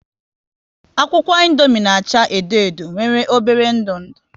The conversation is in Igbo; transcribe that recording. Akwụkwọ Indomie na acha edo edo nwere obere ndu ndụ